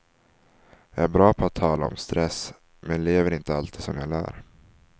Jag är bra på att tala om stress, men lever inte alltid som jag lär.